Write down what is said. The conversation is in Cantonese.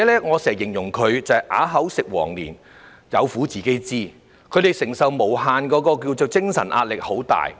我經常形容照顧者是"啞子吃黃連，有苦自己知"，他們承受的精神壓力很大。